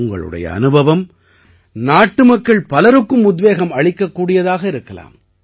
உங்களுடைய அனுபவம் நாட்டுமக்கள் பலருக்கும் உத்வேகம் அளிக்கக்கூடியதாக இருக்கலாம்